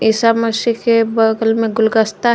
ईसा मसीह के बगल में गुलगस्ता --